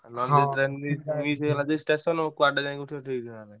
Miss ହେଇଗଲା ଯଦି station କୁଆଡେ ଯାଇକି ଉଠିବ ଠିକ ଠିକଣା ନାହିଁ।